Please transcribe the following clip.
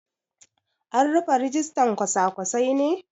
An rufe rijistan kwasa-kwasai ne?